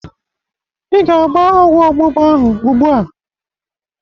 Ị ga-agba ọgwọ ọgbụgba ahụ ugbu a.